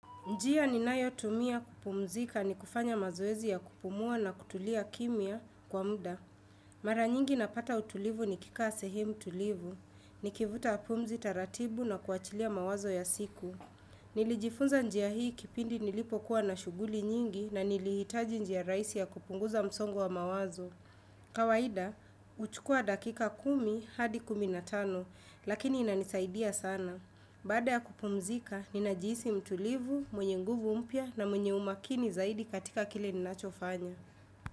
Njia ni nayo tumia kupumzika ni kufanya mazoezi ya kupumua na kutulia kimia kwa muda. Mara nyingi napata utulivu ni kikaa sehemu tulivu. Nikivuta pumzi taratibu na kuachilia mawazo ya siku. Nilijifunza njia hii kipindi nilipo kuwa na shughuli nyingi na nilihitaji njia rahisi ya kupunguza msongo wa mawazo. Kawaida, huchukua dakika kumi hadi kumi na tano, lakini inanisaidia sana. Bada ya kupumzika, ninajisi mtulivu, mwenye nguvu mpya na mwenye umakini zaidi katika kile ninachofanya.